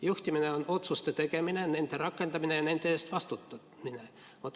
Juhtimine on otsuste tegemine, nende rakendamine ja nende eest vastutamine.